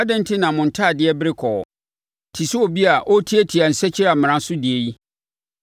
Adɛn enti na mo ntadeɛ bere kɔɔ, te sɛ obi a ɔretiatia nsakyiamena so deɛ yi?